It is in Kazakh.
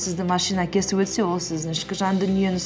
сізді машина кесіп өтсе ол сіздің ішкі жан дүниеңіз